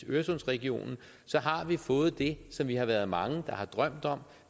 øresundsregionen fået det som vi har været mange der har drømt om